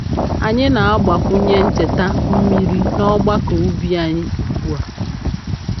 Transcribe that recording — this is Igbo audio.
Anyị na-agbakwunye ncheta mmiri n’ọgbakọ ubi anyị ugbu a.